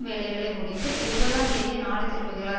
வேலைகளை முடித்து இருபதாம் தேதியே நாடு திரும்புகிறார்